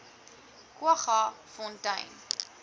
kwaggafontein